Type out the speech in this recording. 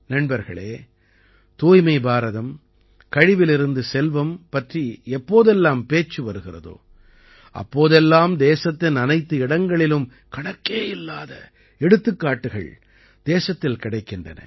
நண்பர்களே தூய்மை பாரதம் கழிவிலிருந்து செல்வம் பற்றி எப்போதெல்லாம் பேச்சு வருகிறதோ அப்போதெல்லாம் தேசத்தின் அனைத்து இடங்களிலும் கணக்கேயில்லாத எடுத்துக்காட்டுகள் தேசத்தில் கிடைக்கின்றன